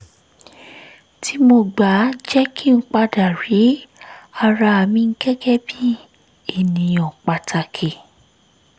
tí mo gbà jẹ́ kí n padà rí ara mi gẹ́gẹ́ bí ènìyàn pàtàkì